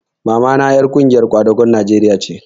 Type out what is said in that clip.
Mamata ƴar ƙungiyar kwadagon Najeriya ce